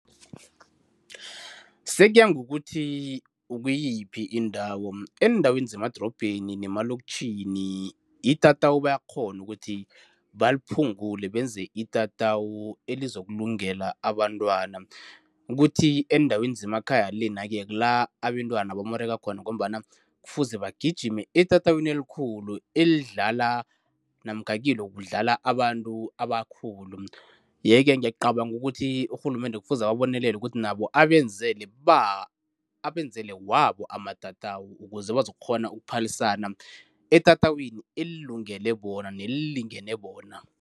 Sekuya ngokuthi ukuyiphi indawo. Eendaweni zemadorobheni nemaloktjhini itatawu bayakghona ukuthi baliphungule benze itatawu elizokulungela abantwana, kuthi eendaweni zemakhaya lena-ke kula abentwana bamoreka khona ngombana kufuze bagijime etatawini elikhulu elidlala namkha kilo kudlala abantu abakhulu yeke ngiyacabanga ukuthi urhulumende kufuze ababonelele ukuthi nabo abenzele abenzele wabo amatatawu ukuze bazokukghona ukuphalisana etatawini elilungele bona nelilingene bona.